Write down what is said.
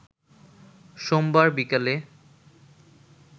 সোমবার বিকালে